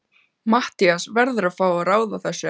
Matthías verður að fá að ráða þessu, ekki satt?